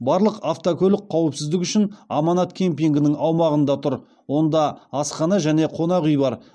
барлық автокөлік қауіпсіздік үшін аманат кемпингінің аумағында тұр онда асхана және қонақ үй бар